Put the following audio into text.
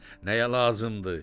nəyə lazımdı?